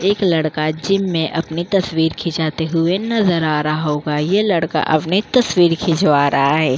एक लड़का जिम मेंअपने तस्वीर खींचते हुए नजर आ रहा होगा। ये लड़का अपनी तस्वीर खिचवा रहा है।